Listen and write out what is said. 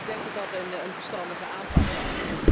Ik denk dat dat een verstandige aanpak was.